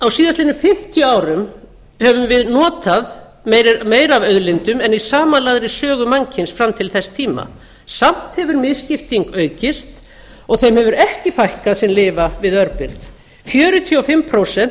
á síðastliðnum fimmtíu árum höfum við notað meira af auðlindum en í samanlagðri sögu mannkyns fram til þess tíma samt hefur misskipting aukist og þeim hefur ekki fækkað sem lifa við örbirgð fjörutíu og fimm prósent